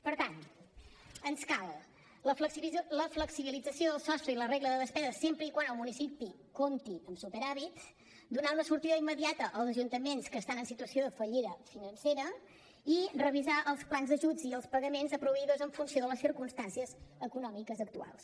per tant ens cal la flexibilització del sostre i la regla de despesa sempre que el municipi compti amb superàvit donar una sortida immediata als ajuntaments que estan en situació de fallida financera i revisar els plans d’ajuts i els pagaments a proveïdors en funció de les circumstàncies econòmiques actuals